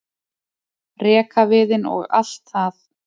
rekaviðinn og allt það.